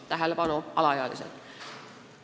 Tähelepanu, alaealised!